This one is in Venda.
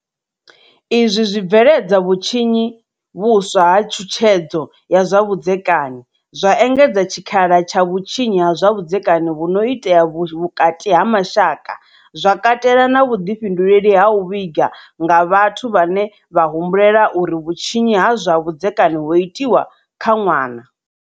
Izwi zwi bveledza vhutshinyi vhuswa ha tshutshedzo ya zwa vhudzekani, zwa engedza tshikhala tsha vhutshinyi ha zwa vhudzekani vhu no itea vhukati ha mashaka, zwa katela na vhuḓifhinduleli ha u vhiga nga vhathu vhane vha humbulela uri vhutshinyi ha zwa vhudzekani ho itwa kha ṅwana.